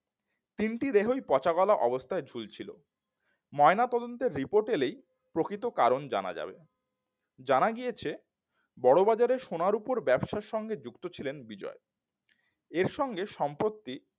তিনটি দেহই পচা গলা অবস্থায় ঝুলছিল ময়নাতদন্তের report এলেই প্রকৃত কারণ জানা যাবে জানা গিয়েছে বড়বাজারে সোনা রুপোর ব্যবসার সঙ্গে যুক্ত ছিলেন বিজয় এর সঙ্গে সম্পত্তি